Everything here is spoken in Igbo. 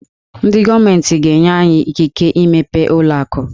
Ndị gọọmentị ga-enye anyị ikike imepe ụlọ akụ.